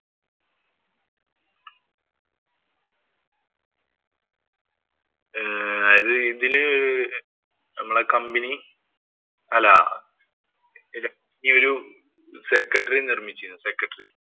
ആഹ് ഇതില് നമ്മുടെ company അല്ല രാജ്ഞി ഒരു secretary യെ നിര്‍മ്മിച്ചിരുന്നു secretary.